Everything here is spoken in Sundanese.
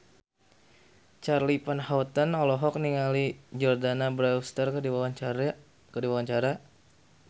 Charly Van Houten olohok ningali Jordana Brewster keur diwawancara